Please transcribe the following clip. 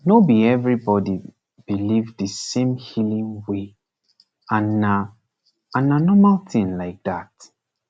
no be everybody believe the same healing way and na and na normal thing like that